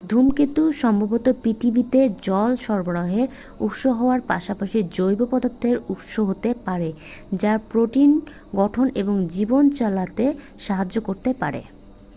ধূমকেতু সম্ভবত পৃথিবীতে জল সরবরাহের উৎস হওয়ার পাশাপাশি জৈব পদার্থের উৎস হতে পারে যা প্রোটিন গঠন এবং জীবন চালাতে সাহায্য করতে পারে